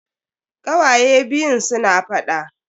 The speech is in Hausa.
Kawaye biyun suna faɗa.